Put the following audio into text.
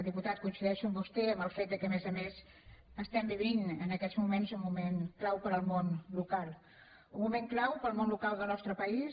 diputat coincideixo amb vostè en el fet que a més a més vivim en aquests moments un moment clau per al món local un moment clau per al món local del nostre país